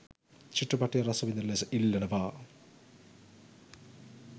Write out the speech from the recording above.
චිත්‍රපටය රසවිඳින ලෙස ඉල්ලනවා.